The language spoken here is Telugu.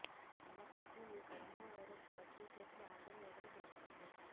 అయినప్పటికీ ఈ కరోనా వైరస్ పాజిటివ్ కేసులు ఆగడం లేదని తెలుస్తుంది